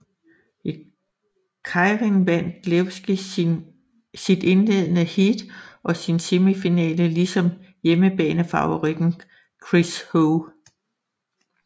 I keirin vandt Levy sit indledende heat og sin semifinale lige som hjemmebanefavoritten Chris Hoy